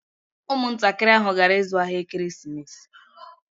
Ụmụntakịrị ahụ gara ịzụ ahịa ekeresimesi